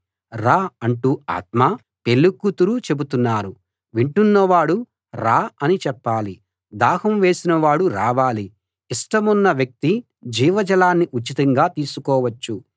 రా అంటూ ఆత్మా పెళ్ళికూతురూ చెబుతున్నారు వింటున్నవాడూ రా అని చెప్పాలి దాహం వేసిన వాడు రావాలి ఇష్టమున్న వ్యక్తి జీవ జలాన్ని ఉచితంగా తీసుకోవచ్చు